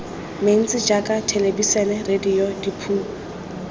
mentsi jaaka thelebisene radio diphousetara